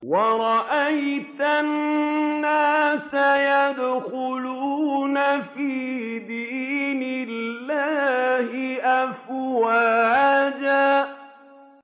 وَرَأَيْتَ النَّاسَ يَدْخُلُونَ فِي دِينِ اللَّهِ أَفْوَاجًا